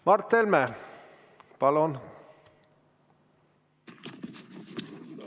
Mart Helme, palun!